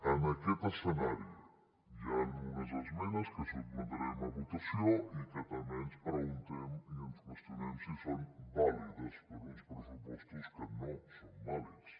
en aquest escenari hi han unes esmenes que sotmetrem a votació i que també ens preguntem i ens qüestionem si són vàlides per a uns pressupostos que no són vàlids